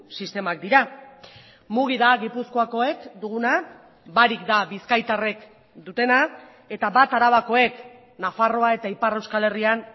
sistemak dira mugi da gipuzkoakoek duguna barik da bizkaitarrek dutena eta bat arabakoek nafarroa eta ipar euskal herrian